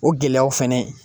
O gɛlɛyaw fɛnɛ